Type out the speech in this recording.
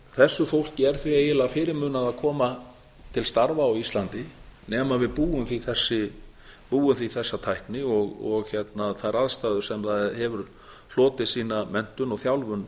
þessu fólki er því eiginlega fyrirmunað að koma til starfa á íslandi nema við búum því þessa tækni og þær aðstæður sem það hefur hlotið sína menntun og þjálfun